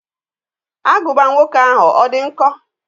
Agụba nwoke ahụ, ọ dị nkọ?